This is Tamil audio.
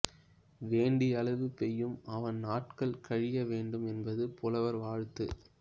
வேண்டிய அளவு பெய்யும் அவன் நாட்கள் கழிய வேண்டும் என்பது புலவர் வாழ்த்து